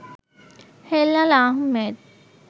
Helal Ahmed